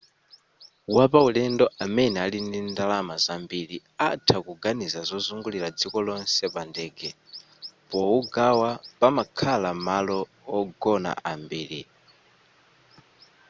wapaulendo amene ali ndi ndalama zambiri atha kuganiza zozungulira dziko lonse pandege powugawa pomakhala m'malo ogona ambiriwa